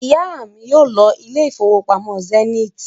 Ìyá mi yóò lọ ilé ìfowópamọ́ Zenith